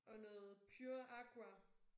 Og noget pure agua